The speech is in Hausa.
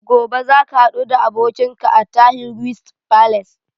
Gobe za ka haɗu da abokinka a Tahir Guest Palace?